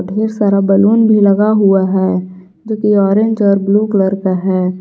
ढेर सारा बैलून भी लगा हुआ है जो की ऑरेंज और ब्लू कलर का है।